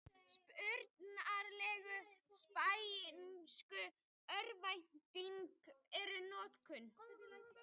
Upprunalegu spænsku örnefnin eru notuð.